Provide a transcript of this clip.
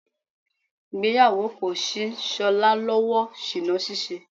Ìgbéyàwó kò ṣí Ṣọlá lọ́wọ́ ṣìná ní ṣíṣe.